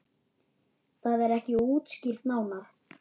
Það er ekki útskýrt nánar.